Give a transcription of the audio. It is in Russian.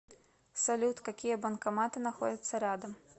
салют какие банкоматы находятся рядом